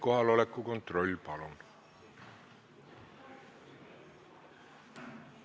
Kohaloleku kontroll, palun!